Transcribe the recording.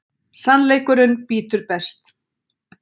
Sannleikurinn bítur best.